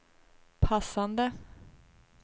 passade